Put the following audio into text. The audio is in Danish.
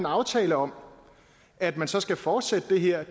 aftale om at man så skal fortsætte det her